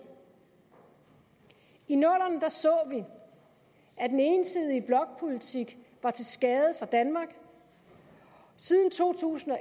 i nullerne så vi at den ensidige blokpolitik var til skade for danmark siden to tusind og